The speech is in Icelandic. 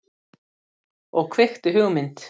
Og kveikti hugmynd.